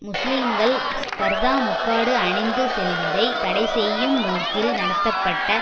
முஸ்லீம்கள் பர்தா முக்காடு அணிந்து செல்வதை தடைசெய்யும் நோக்கில் நடத்தப்பட்ட